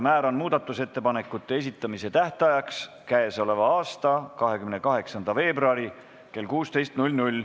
Määran muudatusettepanekute esitamise tähtajaks k.a 28. veebruari kell 16.